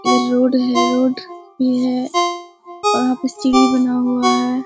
इधर रोड है रोड भी है और वहाँ पर सीढ़ी बना हुआ है।